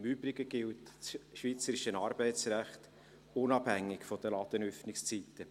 Im Übrigen gilt das schweizerische Arbeitsrecht unabhängig von den Ladenöffnungszeiten.